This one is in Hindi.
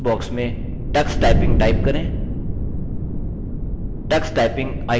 सर्च बॉक्स में tux typing टाइप करें